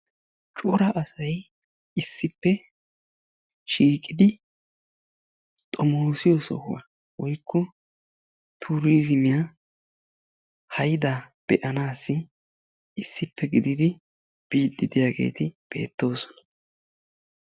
cora asay issippe shiiqidi xomoosiyo nsohuwa woykko tuuriizimiya hayda be'anaassi issippe gididi biidi diyaageeti beetoosona.